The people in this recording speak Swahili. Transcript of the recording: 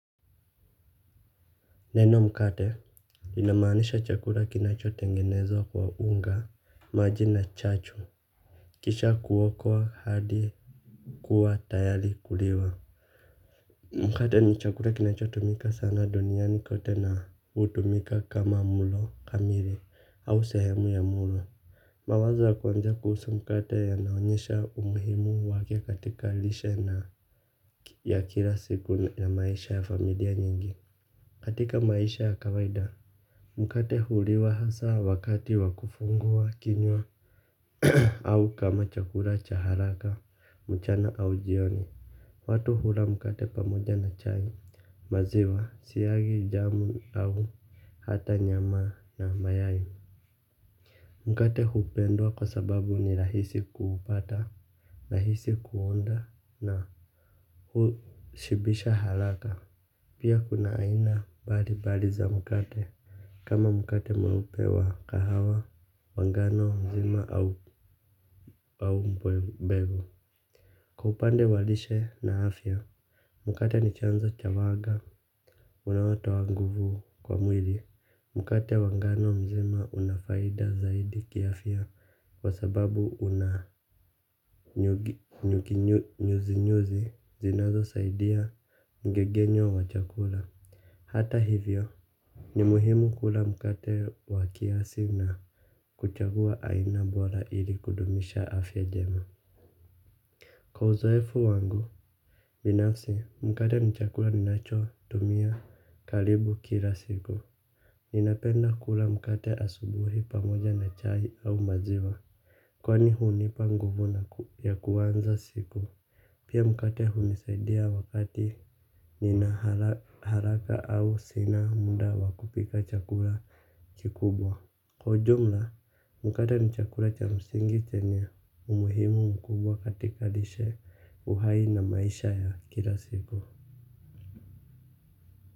Neno mkate inamaanisha chakula kinachotengenezwa kwa unga, maji na chachu. Kisha kuokwa hadi kuwa tayari kuliwa. Mkate ni chakula kinachotumika sana duniani kote na hutumika kama mlo kamili au sehemu ya mlo. Mawazo ya kwanza kuhusu mkate yanaonyesha umuhimu wake katika lishe na ya kila siku ya maisha ya familia nyingi. Katika maisha ya kawaida mkate huliwa hasa wakati wa kufungua kinywa au kama chakula cha haraka, mchana au jioni. Watu hula mkate pamoja na chai, maziwa, siagi, jamu au hata nyama na mayai. Mkate hupendwa kwa sababu ni rahisi kupata, rahisi kuunda na hushibisha haraka. Pia kuna aina mbali mbali za mkate kama mkate mweupe wa kahawa, wa ngano mzima au mbegu. Kwa upande wa lishe na afya, mkate ni chanzo cha wanga unaotoa nguvu kwa mwili. Mkate wa ngano mzima una faida zaidi kiafya kwa sababu una nyuzi-nyuzi zinazosaidia mng'eng'enyo wa chakula. Hata hivyo, ni muhimu kula mkate wa kiasi na kuchagua aina bora ili kudumisha afya njema. Kwa uzoefu wangu, binafsi mkate ni chakula ninachotumia karibu kila siku. Ninapenda kula mkate asubuhi pamoja na chai au maziwa, kwani hunipa nguvu ya kuanza siku. Pia mkate hunisaidia wakati nina haraka au sina muda wa kupika chakula kikubwa. Kwa jumla, mkate ni chakula cha msingi chenye umuhimu mkubwa katika lishe uhai na maisha ya kila siku.